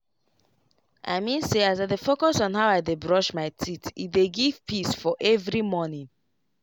i mean say as i dey focus on how i dey brush my teethe dey give peace for every morning.